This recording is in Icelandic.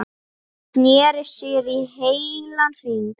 Sneri sér í heilan hring.